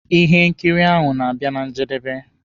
Ihe nkiri ahụ na-abịa na njedebe.